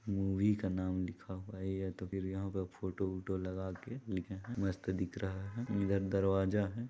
Movie का नाम लिखा हुआ है या तो फिर यहाँ पे फोटो -- वोटो लगाके लिखे है मस्त दिख रहा है मिरर दरवाजा हैं ।